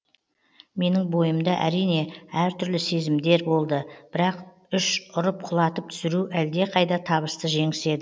менің бойымда әрине әр түрлі сезімдер болды бірақ үш ұрып құлатып түсіру әлде қайда табысты жеңіс еді